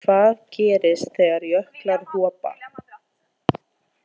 Hvað gerist þegar jöklar hopa?